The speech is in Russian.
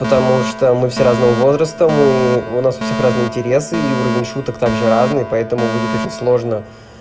потому что мы все разного возраста мы у нас у всех разные интересы и уровень шуток также разные поэтому будет очень сложно